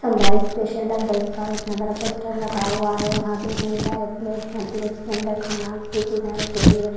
इतना बड़ा पोस्टर लगा हुआ है वहाँ पे इतने सारे प्लेट्स हैं प्लेट्स के अन्दर खाना की चीज़ें रखी हुई हैं।